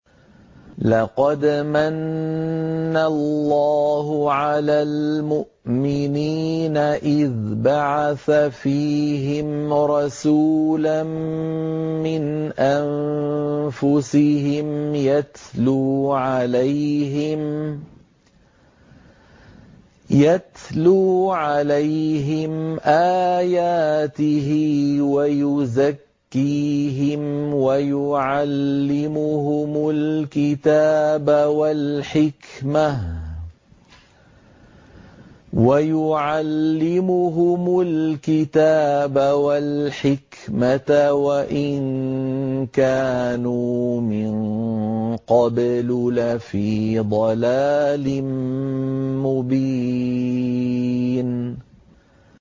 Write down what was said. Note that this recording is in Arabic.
لَقَدْ مَنَّ اللَّهُ عَلَى الْمُؤْمِنِينَ إِذْ بَعَثَ فِيهِمْ رَسُولًا مِّنْ أَنفُسِهِمْ يَتْلُو عَلَيْهِمْ آيَاتِهِ وَيُزَكِّيهِمْ وَيُعَلِّمُهُمُ الْكِتَابَ وَالْحِكْمَةَ وَإِن كَانُوا مِن قَبْلُ لَفِي ضَلَالٍ مُّبِينٍ